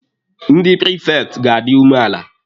Ndị prifekti ga-adi umeala.